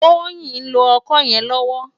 Toyin n ló òkò yèn lòwò